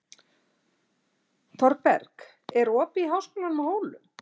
Thorberg, er opið í Háskólanum á Hólum?